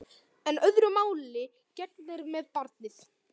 En öðru máli gegnir með barnið.